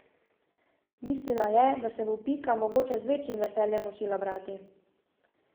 Mislila je, da se bo Pika mogoče z večjim veseljem učila brati.